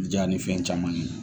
Ja ni fɛn caman ye